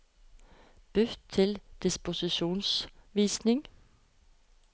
Bytt til disposisjonsvisning